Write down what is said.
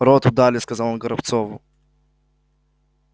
роту дали сказал он горобцову